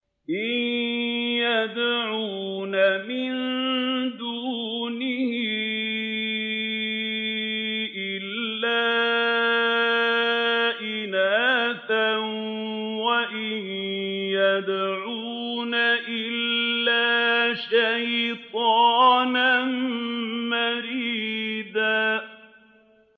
إِن يَدْعُونَ مِن دُونِهِ إِلَّا إِنَاثًا وَإِن يَدْعُونَ إِلَّا شَيْطَانًا مَّرِيدًا